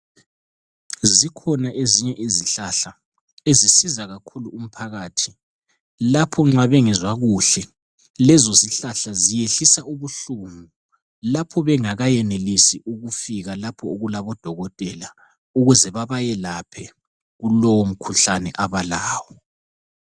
Zikhona ezinye izihlahla ezisiza kakhulu umphakathi lapho nxa bengezwa kuhle lezo zihlahla ziyehlisa ubuhlungu. Lapho bengakayenelisi ukufika lapho okulabodokotela ukuze babelaphe kulowo mkhuhlane abalawo.